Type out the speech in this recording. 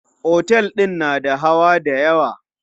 Otel din na da hawa dayawa.